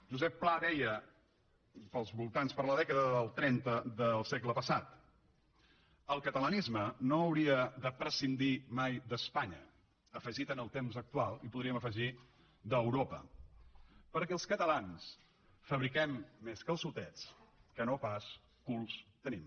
josep pla deia per la dècada del trenta del segle passat el catalanisme no hauria de prescindir mai d’espanya afegit en el temps actual hi podríem afegir d’europa perquè els catalans fabriquem més calçotets que no pas culs tenim